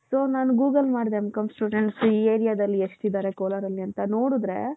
so ನಾನು google ಮಾಡ್ದೆ M.com students ಈ areaದಲ್ಲಿ ಎಷ್ಟಿದ್ದಾರೆ ಕೋಲಾರಲ್ಲಿ ಅಂತ ನೋಡಿದ್ರೆ.